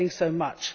getting so much.